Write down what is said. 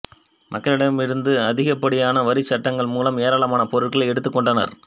மக்களிடம் இருந்து அதிகப்படியான வரிச் சட்டங்கள் மூலம் ஏராளமான பொருட்களை எடுத்துக் கொண்டார்